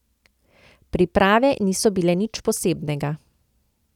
Priprave niso bile nič posebnega.